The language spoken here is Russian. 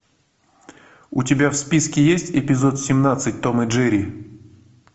у тебя в списке есть эпизод семнадцать том и джерри